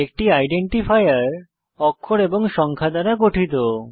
একটি আইডেন্টিফায়ার অক্ষর এবং সংখ্যা দ্বারা গঠিত